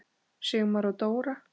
Sigmar og Dóra.